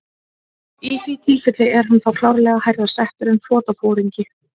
Í því tilfelli er hann þá klárlega hærra settur en flotaforingi.